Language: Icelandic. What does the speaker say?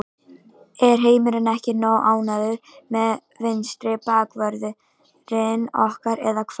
Er heimurinn ekki nógu ánægður með vinstri bakvörðinn okkar eða hvað?